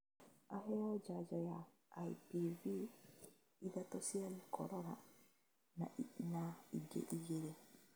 Aheo njanjo ya IPV, ithatũ cia gĩkorora, na ingĩ igĩrĩ